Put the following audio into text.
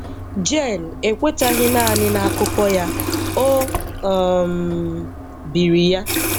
Jen ekwetaghị naanị na akụkọ ya, o um biri ya.